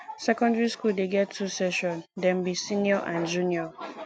secondary skool dey get two section dem be senior and junior